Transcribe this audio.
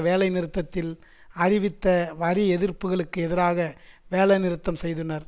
வேலைநிறுத்தத்தில் அறிவித்த வரி எதிர்ப்புக்களுக்கு எதிராக வேலைநிறுத்தம் செய்தனர்